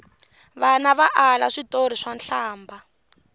vana va ala switori swa nhlambha